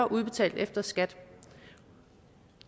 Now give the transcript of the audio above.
udbetalt efter skat